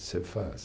Você faz.